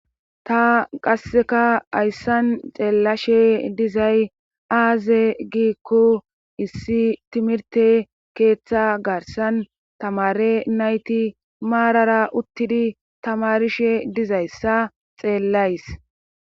ta qasseka ayssan xeellashe dizay aaze giikku issi timirte keeththa garsan tamare nayti maarara uttidi tamarishe dizayssa xeellays